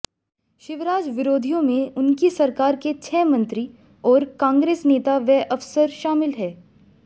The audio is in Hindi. शिवराज विरोधियों में उनकी सरकार के छह मंत्री और कांग्रेस नेता व अफसर शामिल हैं